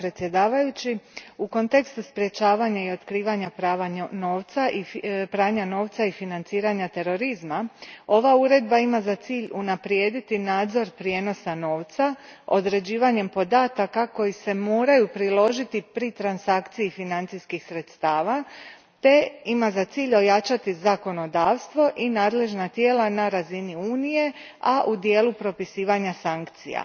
Gospodine predsjedniče, u kontekstu sprječavanja i otkrivanja pranja novca i financiranja terorizma ova uredba ima za cilj unaprijediti nadzor prijenosa novca, određivanjem podataka koji se moraju priložiti pri transakciji financijskih sredstava te ima za cilj ojačati zakonodavstvo i nadležna tijela na razini Unije, a u dijelu propisivanja sankcija.